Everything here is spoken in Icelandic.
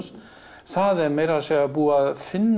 það er meira að segja búið að finna